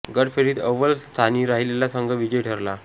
गट फेरीत अव्वल स्थानी राहिलेला संघ विजयी ठरला